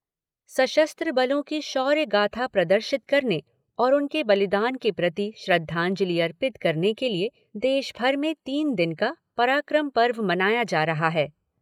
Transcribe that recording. सशस्त्र बलों की शौर्य गाथा प्रदर्शित करने और उनके बलिदान के प्रति श्रद्धांजलि अर्पित करने के लिए देश भर में तीन दिन का पराक्रम पर्व मनाया जा रहा है।